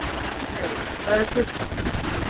Úlfheiður, hvað er klukkan?